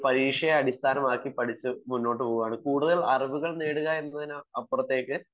ഒരു പരീക്ഷയെ അടിസ്ഥാനമാക്കി മാത്രം മുന്നോട്ടു പോകുകയാണ് കൂടുതൽ അറിവുകൾ നേടുക എന്നതിന് അപ്പുറത്തേക്ക്